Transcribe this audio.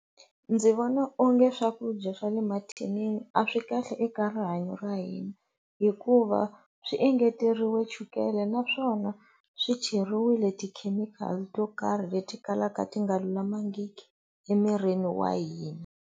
Ndzi vona onge swakudya swa le mathinini a swi kahle eka rihanyo ra hina hikuva swi engeteriwe chukele naswona swi cheriwile ti-chemical to karhi leti kalaka ti nga lulamangiki emirini wa hina.